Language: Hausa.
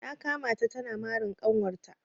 Na kama ta tana marin kanwar ta.